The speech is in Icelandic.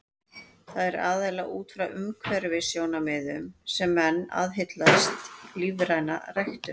Það er aðallega út frá umhverfissjónarmiðum sem menn aðhyllast lífræna ræktun.